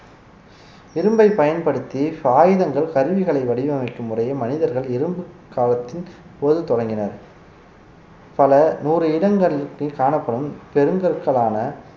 இரும்பை பயன்படுத்தி சாயுதங்கள் கருவிகளை வடிவமைக்கும் முறைய மனிதர்கள் இரும்புக்காலத்தின் போது தொடங்கினர் பல நூறு இடங்களில் காணப்படும் பெருங்கற்களான